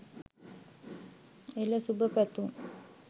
එල ! සුභ පැතුම්!